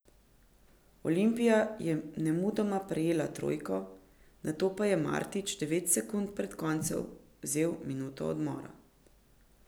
Olimpija je nemudoma prejela trojko, nato pa je Martić devet sekund pred koncem vzel minuto odmora.